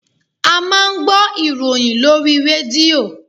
A máa ń gbọ́ ìròyìn lórí rédíò.